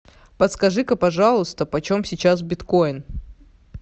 подскажи ка пожалуйста почем сейчас биткоин